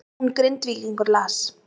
Jón Grindvíkingur las